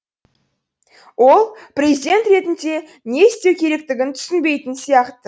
ол президент ретінде не істеу керектігін түсінбейтін сияқты